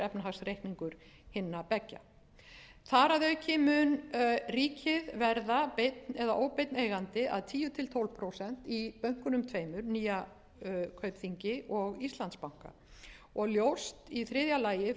efnahagsreikningur hinna beggja þar að auki mun ríkið verða beinn eða óbeinn eigandi að tíu til tólf prósent í bönkunum tveimur nýja kaupþingi og íslandsbanka og ljóst í þriðja lagi frú